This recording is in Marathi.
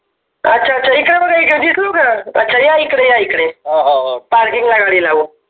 अच्छा अच्छा इकडे बघा इकडे दिसलो का अच्छा या इकडे या इकडे पार्किंग ला गाडी लावून